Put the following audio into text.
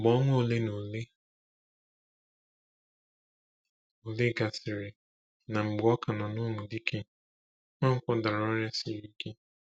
Mgbe ọnwa ole na ole gasịrị, na mgbe ọ ka nọ na Umudike, Nwankwo dara ọrịa siri ike.